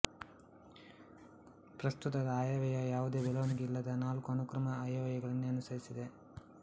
ಪ್ರಸ್ತುತದ ಆಯವ್ಯಯ ಯಾವುದೇ ಬೆಳವಣಿಗೆ ಇಲ್ಲದ ನಾಲ್ಕು ಅನುಕ್ರಮ ಆಯವ್ಯಯಗಳನ್ನೇ ಅನುಸರಿಸಿದೆ